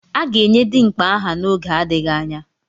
A ga-enye Dimkpa aha n'oge adịghị anya.